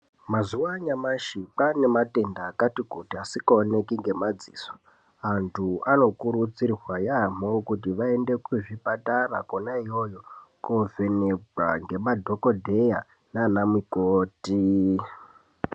Mazuwa anyamashi kwaanematenda akati kuti asingaoneki ngemadziso. Vantu anokurudzirwa yaamho kuti vaende kuzvipatara kona iyoyo, kovhenekwa ngemadhokodheya nana mukoti.